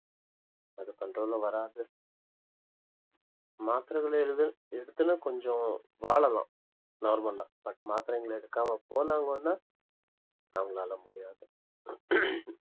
அது control ல வராது மாத்திரைகளிலே எழுது~ எடுத்தனா கொஞ்சம் வாழலாம் normal ஆ but மாத்திரைங்களை எடுக்காம போனாங்கன்னா அவங்களால முடியாது